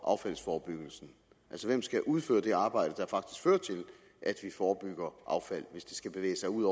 affaldsforebyggelsen altså hvem skal udføre det arbejde der faktisk fører til at vi forebygger affald hvis det skal bevæge sig ud